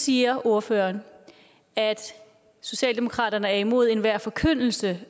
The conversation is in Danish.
siger ordføreren at socialdemokratiet generelt er imod enhver forkyndelse